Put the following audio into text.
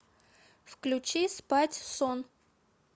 включи спать сон